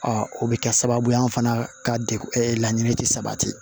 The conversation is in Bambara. o bɛ kɛ sababu ye an fana ka degun laɲini tɛ sabati